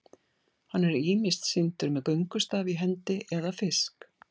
hann er ýmist sýndur með göngustaf í hendi eða fisk